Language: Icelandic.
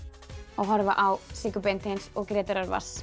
að horfa á Siggu Beinteins og Grétar